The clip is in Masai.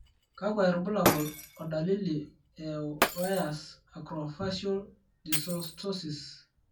kakwa irbulabol o dalili e Weyers acrofacial dysostosis?